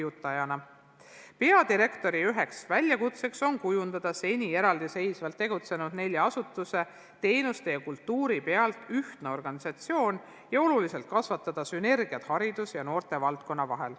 Üks peadirektori väljakutseid on kujundada seni eraldi tegutsenud nelja asutuse teenuste ja kultuuri alusel ühtne organisatsioon ning oluliselt kasvatada sünergiat haridusvaldkonna ja noortevaldkonna vahel.